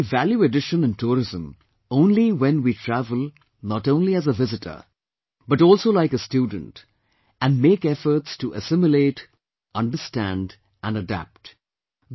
There will be a value addition in tourism only when we travel not only as a visitor but also like a student and make efforts to assimilate, understand & adapt